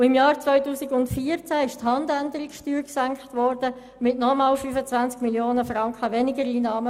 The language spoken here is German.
Im Jahr 2014 wurde die Handänderungssteuer gesenkt, wodurch der Staat nochmals 25 Mio. Franken weniger einnahm.